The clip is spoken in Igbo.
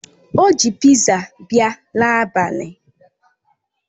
O ji piza bia n'abali